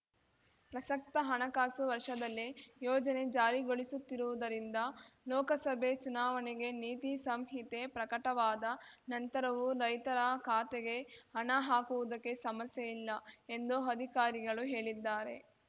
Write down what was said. ಪ್ರಸಕ್ತ ಹಣಕಾಸು ವರ್ಷದಲ್ಲೇ ಯೋಜನೆ ಜಾರಿಗೊಳಿಸುತ್ತಿರುವುದರಿಂದ ಲೋಕಸಭೆ ಚುನಾವಣೆಗೆ ನೀತಿ ಸಂಹಿತೆ ಪ್ರಕಟವಾದ ನಂತರವೂ ರೈತರ ಖಾತೆಗೆ ಹಣ ಹಾಕುವುದಕ್ಕೆ ಸಮಸ್ಯೆಯಿಲ್ಲ ಎಂದು ಅಧಿಕಾರಿಗಳು ಹೇಳಿದ್ದಾರೆ